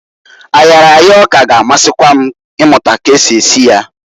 Ayaraya ọka g' amasikwa m imụta ka esi esi ya.